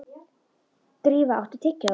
Drífa, áttu tyggjó?